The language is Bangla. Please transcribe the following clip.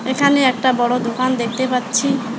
এখানে একটা বড়ো দোকান দেখতে পাচ্ছি।